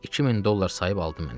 2000 dollar sayıb aldı məni.